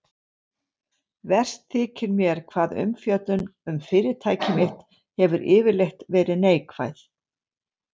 Verst þykir mér hvað umfjöllun um fyrirtæki mitt hefur yfirleitt verið neikvæð.